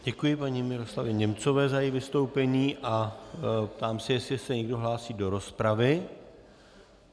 Děkuji paní Miroslavě Němcové za její vystoupení a ptám se, jestli se někdo hlásí do rozpravy.